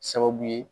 Sababu ye